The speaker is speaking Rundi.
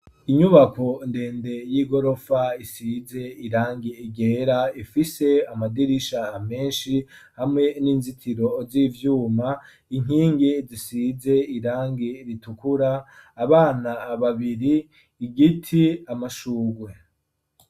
Inyubako ndende y'i gorofa isize irangi igera ifise amadirisha amenshi hamwe n'inzitiro z'ivyuma inkingi zisize irangi ritukura abana babiri igiti, amashurwe.